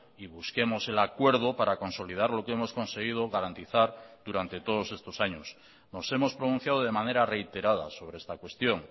y busquemosel acuerdo para consolidar lo que hemos conseguido garantizar durante todos estos años nos hemos pronunciado de manera reiterada sobre esta cuestión